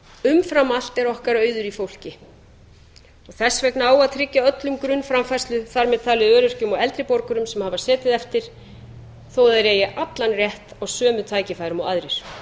umfram allt er okkar auður í fólki og þess vegna á að tryggja öllum grunnframfærslu þar með talið öryrkjum og eldri borgurum sem hafa setið eftir þó þeir hafi allan rétt á sömu tækifærum og aðrir